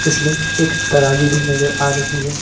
इसमें एक तराजू भी नजर आ रही है।